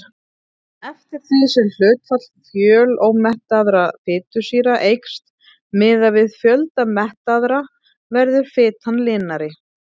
Eftir því sem hlutfall fjölómettaðra fitusýra eykst miðað við fjölda mettaðra verður fitan linari.